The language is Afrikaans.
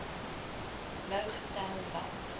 nou getel want